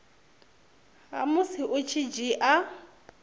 ha musi u tshi dzhia